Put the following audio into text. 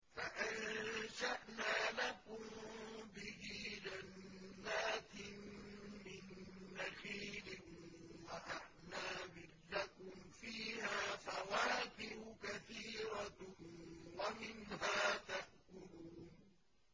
فَأَنشَأْنَا لَكُم بِهِ جَنَّاتٍ مِّن نَّخِيلٍ وَأَعْنَابٍ لَّكُمْ فِيهَا فَوَاكِهُ كَثِيرَةٌ وَمِنْهَا تَأْكُلُونَ